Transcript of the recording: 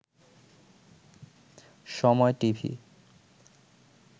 সময় টিভি